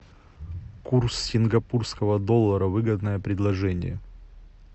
курс сингапурского доллара выгодное предложение